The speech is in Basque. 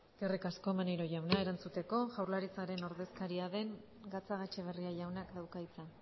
eskerrik asko maneiro jauna erantzuteko jaurlaritzaren ordezkaria den gatzagaetxebarria jaunak dauka hitza